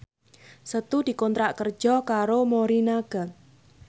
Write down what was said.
Setu dikontrak kerja karo Morinaga